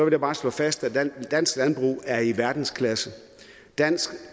jeg bare slå fast at dansk landbrug er i verdensklasse dansk